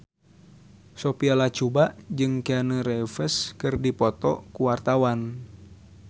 Sophia Latjuba jeung Keanu Reeves keur dipoto ku wartawan